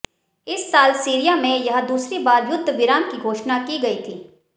इस साल सीरिया में यह दूसरी बार युद्ध विराम की घोषणा की गई थी